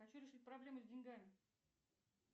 хочу решить проблему с деньгами